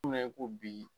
Mina i ko bi